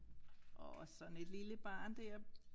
Åh sådan et lille barn dér